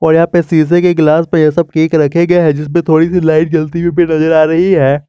और यहां पर शीशे के ग्लास पे यह सब केक रखे गए हैं जिस पे थोड़ी सी लाइट जलती हुई भी नजर आ रही है।